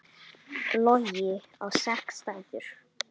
Logi á sex dætur.